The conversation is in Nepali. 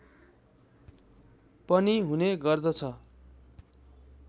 पनि हुने गर्दछ